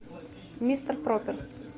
мистер проппер